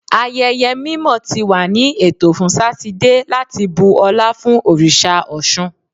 Ayẹyẹ mimọ ti wa ni eto fun Satidee lati bu ọla fun oriṣa Ọṣun